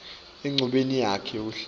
enchubeni yakhe yekuhlela